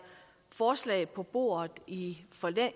forslag på bordet i